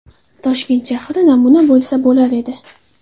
Toshkent shahri namuna bo‘lsa bo‘lar edi.